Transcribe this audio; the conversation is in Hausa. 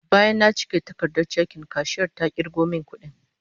Bayan na cike takardar chekin, kashiyar ta kirgo min kudin